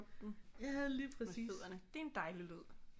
Med fødderne det er en dejlig lyd